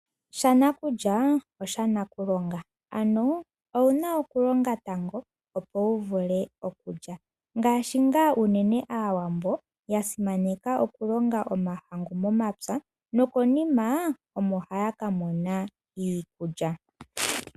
Shanakulya oshaNakulonga ano owu na okulonga tango opo wu vule okulya ngaashi ngaa unene Aawambo ya simaneka okulonga omahangu momapya nokonima omo haya ka mona iilya.